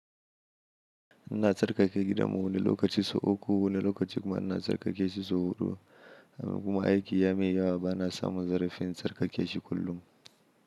Ina tsarkake gida mu wani lokaci sau uku, wani lokaci kuma ina tsarkake shi sau huɗu. Kuma aiki ya mun yawa bana samun zarafin tsarkake shi kullum.